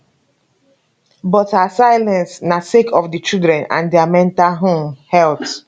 but her silence na sake of di children and dia mental um health